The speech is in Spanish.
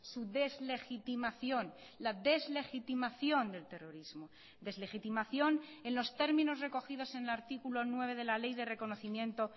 su deslegitimación la deslegitimación del terrorismo deslegitimación en los términos recogidos en el artículo nueve de la ley de reconocimiento